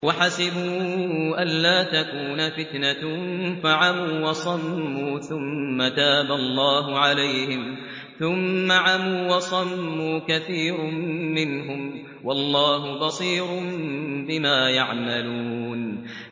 وَحَسِبُوا أَلَّا تَكُونَ فِتْنَةٌ فَعَمُوا وَصَمُّوا ثُمَّ تَابَ اللَّهُ عَلَيْهِمْ ثُمَّ عَمُوا وَصَمُّوا كَثِيرٌ مِّنْهُمْ ۚ وَاللَّهُ بَصِيرٌ بِمَا يَعْمَلُونَ